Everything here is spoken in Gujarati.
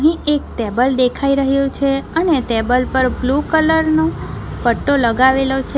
એક ટેબલ દેખાઈ રહ્યુ છે અને ટેબલ પર બ્લુ કલર નું પટ્ટો લગાવેલો છે.